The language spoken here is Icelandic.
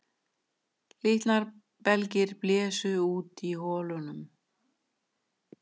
Líknarbelgir blésu út í holunum